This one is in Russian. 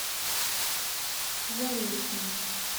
заречного